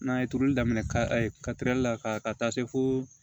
N'a ye turuli daminɛ karili la ka taa se fo